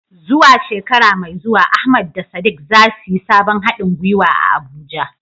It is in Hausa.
Zuwa shekara mai zuwa, Ahmad da Sadiq za su yi sabon hadin gwiwa a Abuja.